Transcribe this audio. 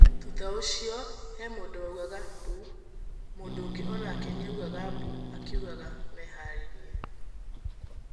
Thutha ũcio he mũndũwaugaga mbuu. Mũndũũngi onake niaugaga mbuu akiugaga meharĩe.